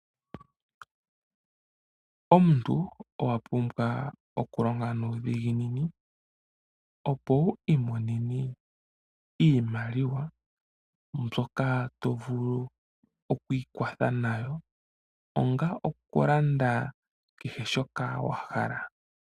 Omuntu owa pumbwa okulonga nuudhiginini opo wu imonene iimaliwa mbyoka to vulu oku ikwatha nayo, onga okulanda nayo shoka wa hala.